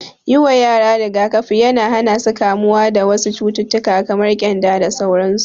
Yi wa yara rigakafi yana hana su kamuwa da wasu cututtuka kamar ƙyanda da sauransu.